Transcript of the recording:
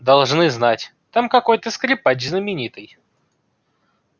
должны знать там какой то скрипач знаменитый